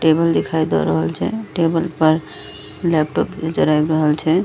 Table दिखाई दे रहल छै टेबल पर लेपटॉप नजर आ रहल छै।